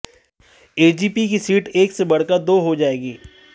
AGP की seat एक से बढ़कर दो हो जाएंगी